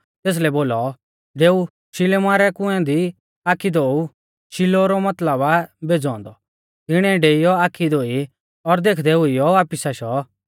तेसलै बोलौ डेऊ शिलोमा रै कुंऐ दी आखी धोऊ शिलोह रौ मतलब आ भेज़ौ औन्दौ तिणीऐ डेइऔ आखी धोई और देखदै हुइयौ वापिस आशौ